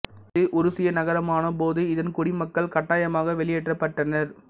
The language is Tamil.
இது உருசிய நகரமான போது இதன் குடிமக்கள் கட்டாயமாக வெளியேற்றப்பட்டனர்